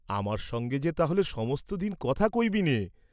আমার সঙ্গে যে তা হ’লে সমস্ত দিন কথা কইবিনে?